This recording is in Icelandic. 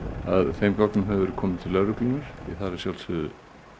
þeim gögnum hefur verið komið til lögreglunnar því það er að sjálfsögðu